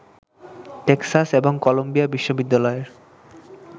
Texas এবং Columbia বিশ্ববিদ্যালয়ের